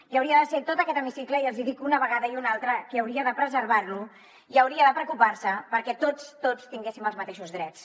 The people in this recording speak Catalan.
i hauria de ser tot aquest hemicicle i els hi dic una vegada i una altra qui hauria de preservar lo i hauria de preocupar se perquè tots tots tinguéssim els mateixos drets